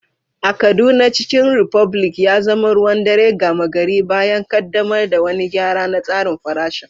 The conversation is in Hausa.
A Kaduna, Chicken republic ya zama ruwan dare gama gari bayan ƙaddamar da wani gyara na tsarin farashin.